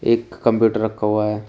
एक कंप्यूटर रखा हुआ है।